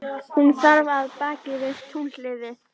Hún þarf af baki við túnhliðið.